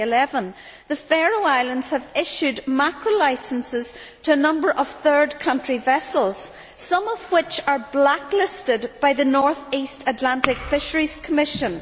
2011. The Faroe Islands have issued mackerel licences to a number of third country vessels, some of which are blacklisted by the North East Atlantic Fisheries Commission.